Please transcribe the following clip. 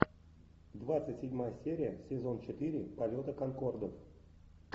двадцать седьмая серия сезон четыре полета конкордов